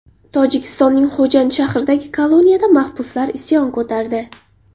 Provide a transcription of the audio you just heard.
Tojikistonning Xo‘jand shahridagi koloniyada mahbuslar isyon ko‘tardi.